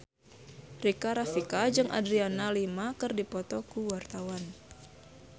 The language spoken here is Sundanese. Rika Rafika jeung Adriana Lima keur dipoto ku wartawan